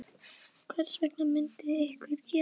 Hvers vegna myndi einhver gera þetta?